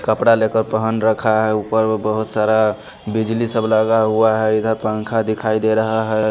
कपड़ा लेकर पहन रखा है ऊपर बहुत सारा बिजली सब लगा हुआ है इधर पंखा दिखाई दे रहा है।